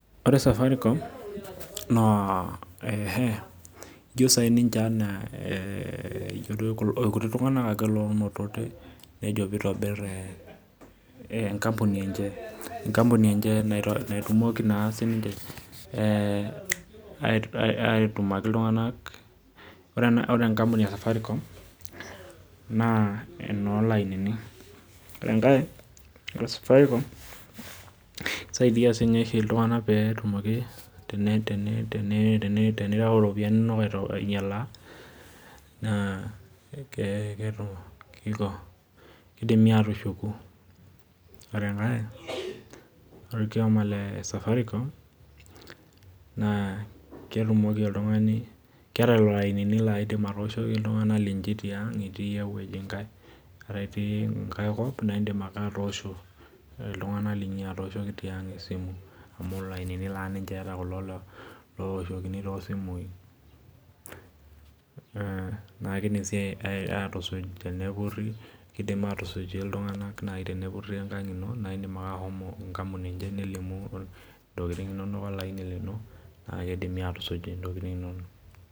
Ore Safaricom na etiu ninche anaa irkuti tunganak oinotote nejo aitobir enkampuni enche natumoki aitumaki ltunganak ore enkampuni esafiricom naa enolainini na kisaidia oshi ltunganak tenireu ropiyani inonok ainyalaa na kidimi atushuku ore orkiomo le safaricom naa keeta lolo ainini laidim atooshoki ltunganak etii enkae kop na indik ake atooshoki ltunganak linyi esimu amu lainini naa eeta kulo ooshokini tosimu neaku kidimi aisaidia ltunganak tenepuri enkang ino na ilo ake nilimu na kidimi atusuj ntokitin inonok